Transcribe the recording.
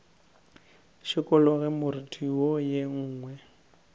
šikologe moriti wo ye nngwe